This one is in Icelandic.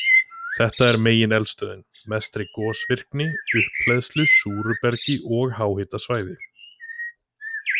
Þar er megineldstöðin með mestri gosvirkni og upphleðslu, súru bergi og háhitasvæði.